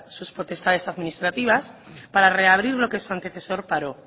sus potestades administrativas para reabrir lo que su antecesor paró